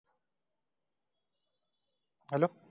hello